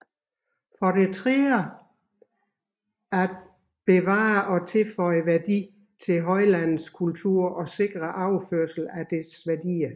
For det tredje at bevare og tilføje værdi til højlandets kultur og sikre overførsel af dets værdier